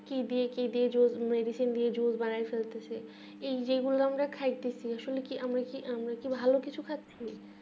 কি দিয়ে কি দিয়ে জোড় দিয়ে medicine দিয়ে জোড় বানায়ে ফেলতেসে এই যে গুলো আমরা খাইতেসি আসলে কি আমরা কি আমরাকি ভালো কিছু খাচ্ছি